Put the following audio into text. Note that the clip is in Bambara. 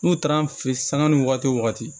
N'u taara an fɛ yen sanga ni wagati wo wagati